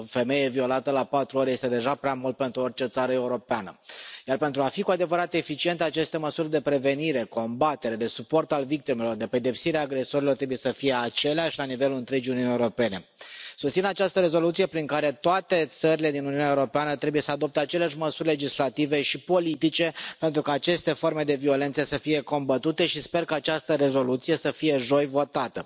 O femeie violată la patru ore este deja prea mult pentru orice țară europeană, iar pentru a fi cu adevărat eficiente aceste măsuri de prevenire, combatere, de suport al victimelor, de pedepsire a agresorilor trebuie să fie aceleași la nivelul întregii Uniuni Europene. Susțin această rezoluție prin care toate țările din Uniunea Europeană trebuie să adopte aceleași măsuri legislative și politice, pentru ca aceste forme de violență să fie combătute și sper că această rezoluție să fie joi votată.